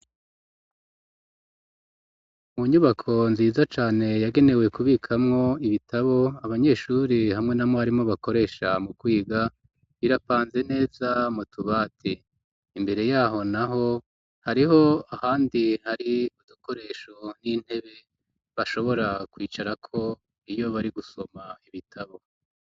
Mu nyubako nziza cane yagenewe kubikamwo ibitabo abanyeshuri hamwe na mwarimu bakoresha mu kwiga birapanze neza mu tubati, imbere yaho naho hariho ahandi hari udukoresho n'intebe bashobora kwicarako iyo bari gusoma ibitabo.